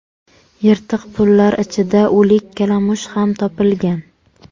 Yirtiq pullar ichida o‘lik kalamush ham topilgan.